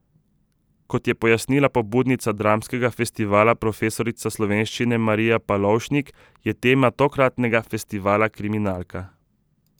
Kot je pojasnila pobudnica dramskega festivala profesorica slovenščine Marija Palovšnik, je tema tokratnega festivala kriminalka.